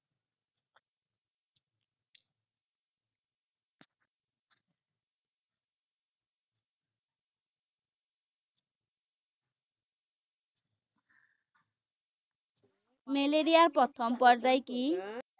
মেলেৰিয়াৰ প্ৰথম পৰ্যায় কি?